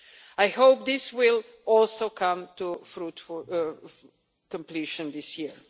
I hope this will also come to fruitful completion this year.